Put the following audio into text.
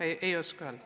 Aitäh!